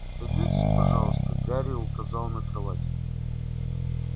садитесь пожалуйста гарри указал на кровать